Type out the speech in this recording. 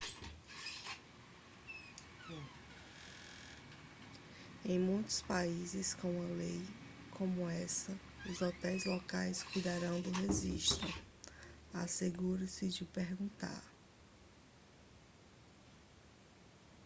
em muitos países com uma lei como essa os hotéis locais cuidarão do registro assegure-se de perguntar